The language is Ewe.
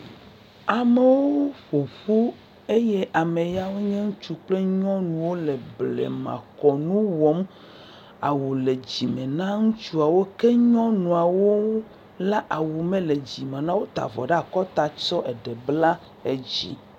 amewo ƒoƒu eye ameyawo nye ŋutsu kple nyɔnuwo le blema kɔnu wɔm awu le dzime na ŋutsuɔwo ke nyɔŋuwo la awu mele dzime nawo o wó ta vɔ ɖa'kɔta tsɔ eɖe bla edzi